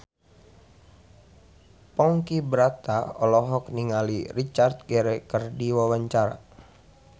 Ponky Brata olohok ningali Richard Gere keur diwawancara